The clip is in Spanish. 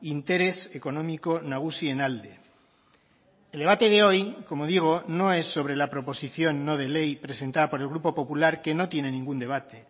interes ekonomiko nagusien alde el debate de hoy como digo no es sobre la proposición no de ley presentada por el grupo popular que no tienen ningún debate